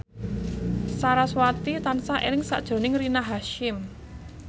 sarasvati tansah eling sakjroning Rina Hasyim